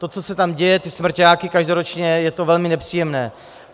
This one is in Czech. To, co se tam děje, ty smrťáky každoročně, je to velmi nepříjemné.